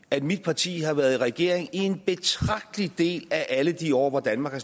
at mit parti har været i regering i en betragtelig del af alle de år hvor danmark har